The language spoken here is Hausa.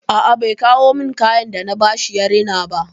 A a bai kawo min kayan da na ba shi ya rina ba.